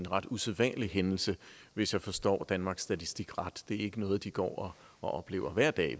ret usædvanlig hændelse hvis jeg forstår danmarks statistik ret det er ikke noget de går og oplever hver dag